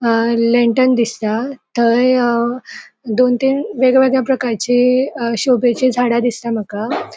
अ lantern दिसता थय अ दोन तीन वेगळे वेगळे प्रकारची शोभेची झाडा दिसता माका.